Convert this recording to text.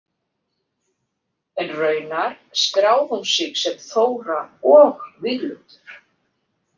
En raunar skráði hún sig sem Þóra og Víglundur.